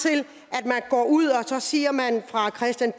og at ud og siger